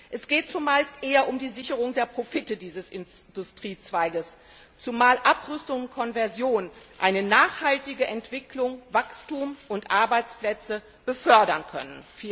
Es geht zumeist eher um die Sicherung der Profite dieses Industriezweiges, zumal Abrüstung und Konversion eine nachhaltige Entwicklung, Wachstum und Arbeitsplätze befördern können.